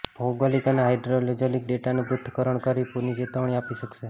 ભૌગોલીક અને હાઈડ્રોલોજીકલ ડેટાનું પૃથ્થકરણ કરી પુરની ચેતવણી આપી શકાશે